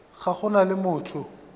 ga go na le motho